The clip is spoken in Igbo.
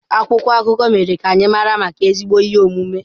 Akwụkwọ akụkọ mere ka anyị mara maka ezigbo ihe omume.